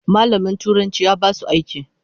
Malamin turanci ya basu aiki.